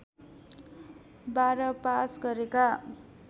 १२ pass गरेका